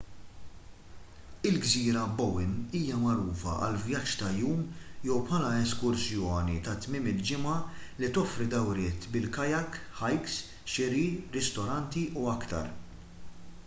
il-gżira bowen hija magħrufa għal vjaġġ ta' jum jew bħala eskursjoni ta' tmiem il-ġimgħa li toffri dawriet bil-kayak hikes xiri ristoranti u aktar